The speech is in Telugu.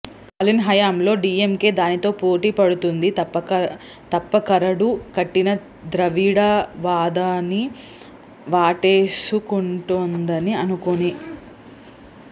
స్టాలిన్ హయాంలో డిఎంకె దానితో పోటీ పడుతుంది తప్ప కరడు కట్టిన ద్రవిడవాదాన్ని వాటేసుకుంటుందని అనుకోను